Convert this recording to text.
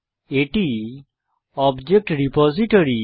এটি object repository